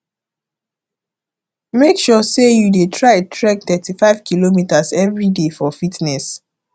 mek sure sey yu dey try trek thirty five kilometer evriday for fitness